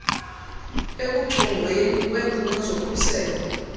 ekuchongweni kweemfuno zokhuselo